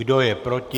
Kdo je proti?